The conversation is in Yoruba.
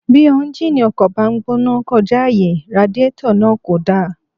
Bí éúnjínì ọkọ̀ bá ń gbóná kọjá àyè, radiétọ̀ náà kò dáa